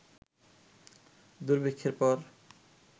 দুর্ভিক্ষের পর